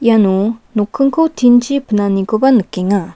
iano nokkingko tin-chi pinanikoba nikenga.